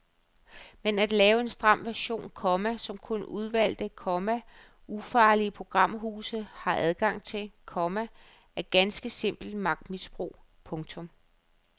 Men at lave en stram version, komma som kun udvalgte, komma ufarlige programhuse har adgang til, komma er ganske simpelt magtmisbrug. punktum